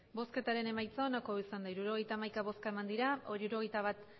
emandako botoak hirurogeita hamaika bai hirurogeita bat